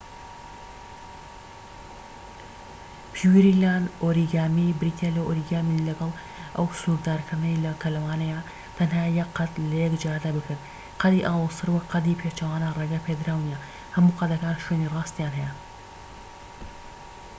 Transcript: پیوریلاند ئۆریگامی بریتیە لە ئۆریگامی لەگەڵ ئەو سنوردارکردنەی کە لەوانەیە تەنها یەک قەد لە یەک جاردا بکرێت، قەدی ئاڵۆزتر وەک قەدی پێچەوانە ڕێگە پێدراو نیە، هەموو قەدەکان شوێنی ڕاستیان هەیە‎